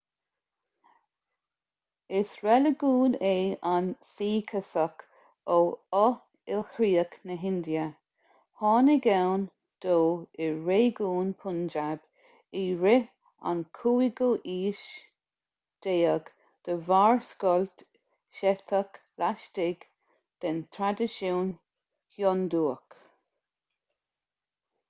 is reiligiún é an suíceachas ó fho-ilchríoch na hindia tháinig ann dó i réigiún punjab i rith an 15ú haois de bharr scoilt seicteach laistigh den traidisiún hiondúch